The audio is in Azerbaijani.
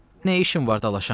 Nə işim var dalaşam?